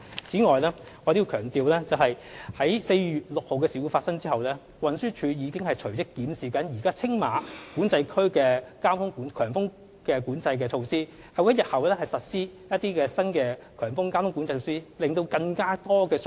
此外，我要強調，在4月6日的事故發生後，運輸署已隨即檢視現時青馬管制區的強風交通管制措施，並會在日後實施新的強風交通管制措施，向乘客提供更多相關信息。